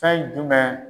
Fɛn jumɛn